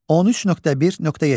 13.1.7.